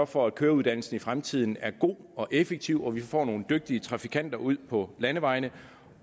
for at køreuddannelsen i fremtiden er god og effektiv og at vi får nogle dygtige trafikanter ud på landevejene